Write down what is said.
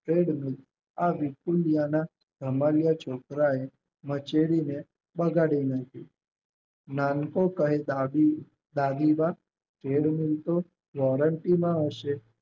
આ વિપુલિયાના ધમાલિયા છોકરા એ મચેડીને બગાડી નાખી. નાનકો કહે દાદી માં વોરંટીમાં હશે